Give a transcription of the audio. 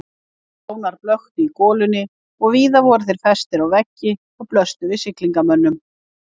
Fánar blöktu í golunni og víða voru þeir festir á veggi og blöstu við siglingamönnum.